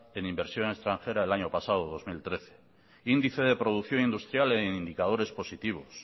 en inversión extranjera del año pasado dos mil trece índice de producción industrial en indicadores positivos